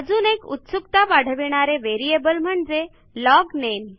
अजून एक उत्सुकता वाढविणारे व्हेरिएबल म्हणजे लॉगनेम